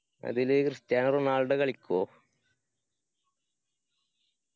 അതില് Cristiano Ronaldo കളിക്കോ?